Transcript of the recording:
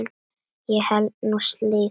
Ég held nú slíður!